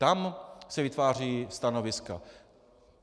Tam se vytvářejí stanoviska.